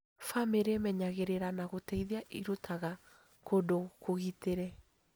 Bamĩrĩ ĩmenyagĩrĩra na gũteithia ĩrutaga kũndũ kũgitĩre